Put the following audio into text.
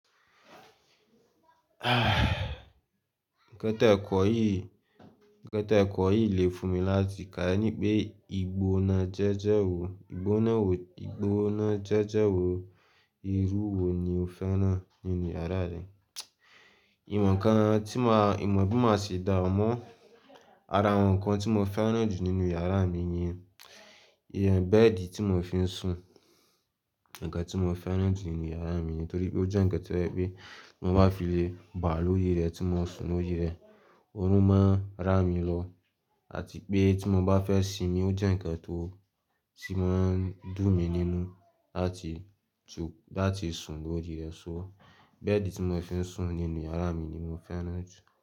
Nǹkan tẹ kọ̀ yìí, nǹkan tẹ̀ kọ̀ yìí lè fún mi láti kà ẹní pé, ìgbóná jẹ́jẹ́ wo, ìgbóná wo, ìgbóná jẹ́jẹ́ wo, irú wo ni o fẹ́ràn nínú yàrá rẹ? Ìwọ̀nkan tí má, ìmọ̀ bí má ṣe dáun amọ́ ara àwọn nǹkan tí mo fẹ́ràn jù nínú yàrá mi ni, ìyẹn bẹ́ẹ̀di tí mo fi ń sùn. Nǹkan tí mo fẹ́ràn jù nínú yàrá mi nítorí pé ó jẹ́ nǹkan tó jẹ pe, bí mo bá fi le, bà á lóri rẹ̀ tí mo sùn lóri rẹ̀, ọrùn máa ń rá mi lọ àti pé tí mo bá fẹ́ sinmi, ó jẹ́ nǹkan tó, tí máa ń dùn mí nínú láti tu, láti sùn lóri rẹ̀ sọ́. Bẹ́ẹ̀di tí mo fi ń sùn nínú yàrá mi ni mo fẹ́ràn jù.